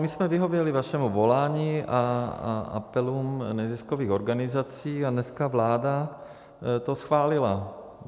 My jsme vyhověli vašemu volání a apelům neziskových organizací a dneska vláda to schválila.